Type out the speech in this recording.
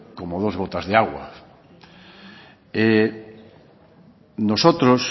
como dos gotas de agua nosotros